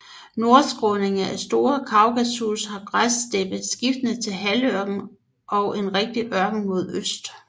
Nordskråningerne af Store Kaukasus har græssteppe skiftende til halvørken og rigtig ørken mod øst